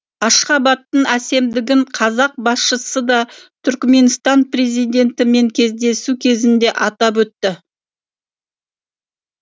ашхабадтың әсемдігін қазақ басшысы да түрікменстан президентімен кездесу кезінде атап өтті